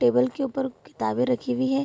Table के ऊपर किताबें रखी हुई है।